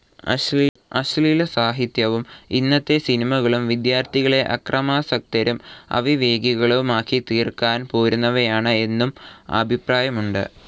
അശ്ളീല സാഹിത്യവും ഇന്നത്തെ സിനിമകളും വിദ്യാർഥികളെ അക്രമാസക്തരും അവിവേകികളുമാക്കിത്തീർക്കാൻ പോരുന്നവയാണ് എന്നും അഭിപ്രായമുണ്ട്.